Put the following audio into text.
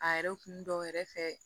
A yɛrɛ kun dɔw yɛrɛ fɛ